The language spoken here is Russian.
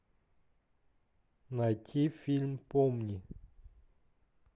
найти фильм помни